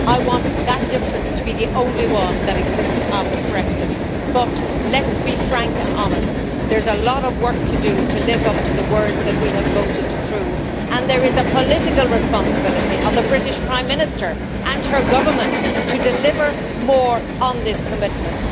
I want that difference to be the only one that exists after Brexit, but let us be frank and honest there is a lot of work to do to live up to the words that we have voted through and there is a political responsibility on the British Prime Minister and her Government to deliver more on this commitment.